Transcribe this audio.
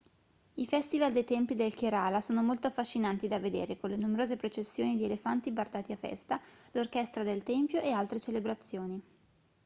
i festival dei templi del kerala sono molto affascinanti da vedere con le numerose processioni di elefanti bardati a festa l'orchestra del tempio e altre celebrazioni